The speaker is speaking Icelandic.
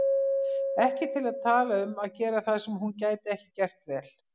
Ekki til að tala um að gera það sem hún gæti ekki gert vel.